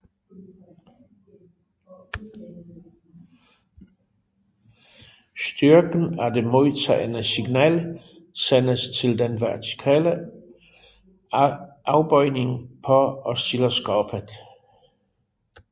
Styrken af de modtagne signal sendes til den vertikale afbøjning på oscilloskopet